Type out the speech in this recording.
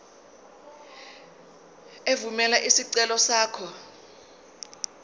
evumela isicelo sakho